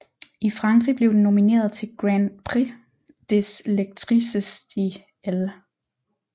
I Frankrig blev den nomineret til Grand prix des lectrices de Elle